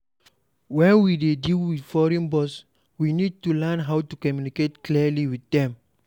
When we dey deal with foreign boss we need to learn how to communicate clearly with them